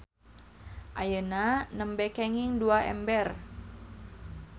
Ayeuna nembe kenging dua ember.